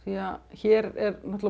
hér er